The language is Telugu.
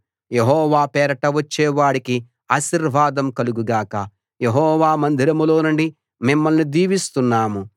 యెహోవా పేరట వచ్చేవాడికి ఆశీర్వాదం కలుగు గాక యెహోవా మందిరంలోనుండి మిమ్మల్ని దీవిస్తున్నాము